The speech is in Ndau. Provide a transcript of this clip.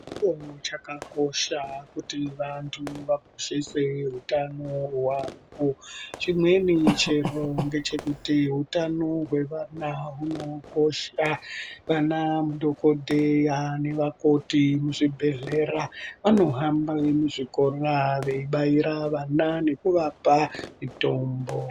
......... chakakosha kuti vantu vakoshese hutano hwavo, chimweni chiro ngechekuti utano hwevana hunokosha vanadhokodheya nevakoti vemuzvibhedhlera vanohamba muzvikora veibairw vana nekuvapa mitombo.